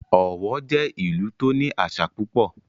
Ọ̀wọ̀ jẹ́ ìlú tó ní àṣà púpọ̀